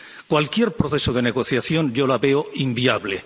Cualquier proceso de negociación, yo lo veo inviable.